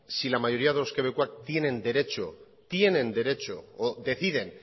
si la mayoría de los quebequeses tienen derecho tienen derecho o deciden